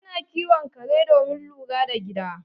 Ana kiwon kare domin lura da gida